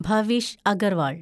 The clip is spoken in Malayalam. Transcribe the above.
ഭാവിഷ് അഗർവാൾ